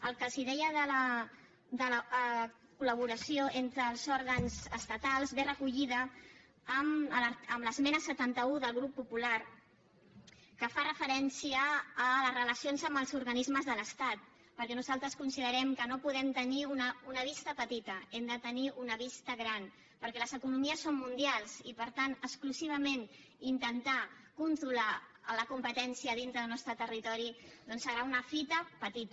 el que els deia de la col·laboració entre els òrgans estatals ve recollit en l’esmena setanta un del grup popular que fa referència a les relacions amb els organismes de l’estat perquè nosaltres considerem que no podem tenir una vista petita hem de tenir una vista gran perquè les economies són mundials i per tant exclusivament intentar controlar la competència dintre del nostre territori doncs serà una fita petita